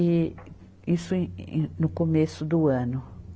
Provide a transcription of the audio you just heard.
E isso em, em, no começo do ano.